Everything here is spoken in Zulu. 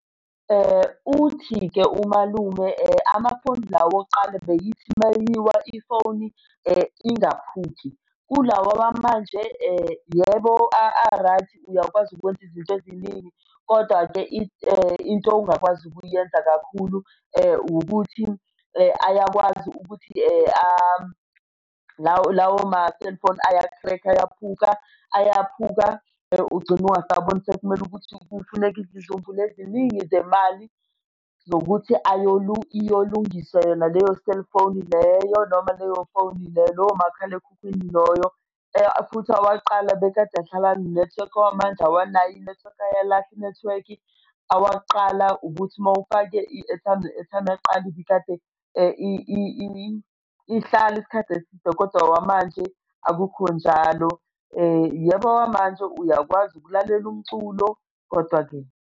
Uthi-ke umalume, amafoni lawa awokuqala beyithi mayiwa ifoni ingaphuki. Kulawa wamanje, yebo a-right uyakwazi ukwenza izinto eziningi, kodwa-ke into ongakwazi ukuyenza kakhulu ukuthi ayakwazi ukuthi lawo ma-cellphone aya-crack-a, ayakhuphuka, ayaphuka ugcine ungasaboni sekumele ukuthi kufuneke izizumbulu eziningi zemali zokuthi iyolungiswa yona leyo cellphone leyo noma leyo phone lowo makhalekhukhwini loyo. Futhi owakuqala bekade ahlala enenethiwekhi, awamanje awanayo inethiwekhi ayalahla inethiwekhi. Awakuqala ubuthi uma ufake i-airtime i-airtime yakqala ibikade ihlale isikhathi eside kodwa awamanje akukho njalo. Yebo awamanje uyakwazi ukulalela umculo, kodwa-ke.